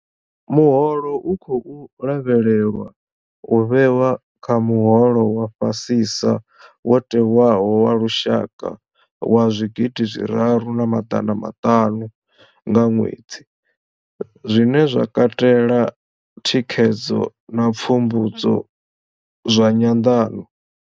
Muholo u khou lavhelelwa u vhewa kha muholo wa fha sisa wo tewaho wa lushaka wa zwigidi zwiraru na maḓana maṱanu nga ṅwedzi, zwine zwa katela thikhedzo na pfumbudzo zwa nyanḓano.